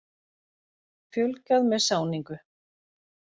Fjölgað með sáningu.